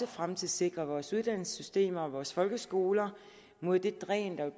fremtidssikre vores uddannelsessystemer og vores folkeskoler mod det dræn der